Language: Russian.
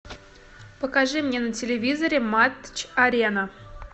покажи мне на телевизоре матч арена